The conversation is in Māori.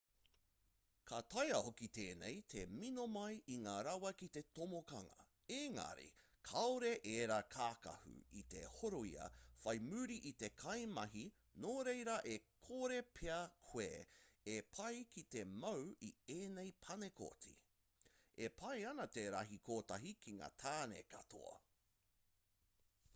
ka taea hoki tēnei te mino mai i ngā rawa ki te tomokanga engari kāore ērā kākahu i te horoia whai muri i ia kaimahi nō reira e kore pea koe e pai ki te mau i ēnei panekoti e pai ana te rahi kotahi ki ngā tāne katoa